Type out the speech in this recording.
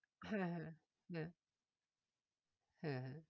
হ্যাঁ হ্যাঁ হ্যাঁ হ্যাঁ হ্যাঁ